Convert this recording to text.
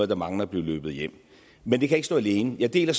der mangler at blive løbet hjem men det kan ikke stå alene jeg deler